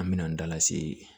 An me n'an dalase